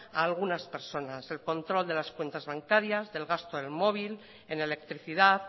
a algunas personas el control de las cuentas bancarias del gasto del móvil en electricidad